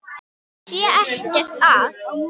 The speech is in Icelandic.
Það sé ekkert að.